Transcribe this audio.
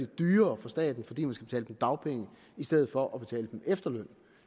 dyrere for staten fordi man skal betale dem dagpenge i stedet for at betale dem efterløn